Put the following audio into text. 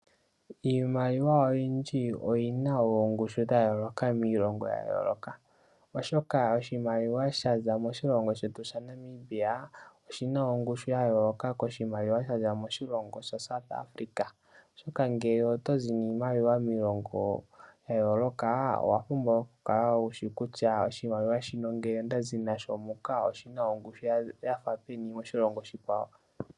Iimaliwa oyindji oyina oongushu dha yooloka miilongo ya yooloka oshoka oshimaliwa shaza moshilongo shetu shaNamibia, oshina ongushu ya yooloka koshimaliwa sha za moshilongo shaSouth Africa oshoka ngele oto zi niimaliwa miilongo ya yooloka owa pumbwa okukala wushi kutya oshimaliwa shino ngele onda zi nasho muka oshina ongushu ya fa peni moshilongo oshikwawo.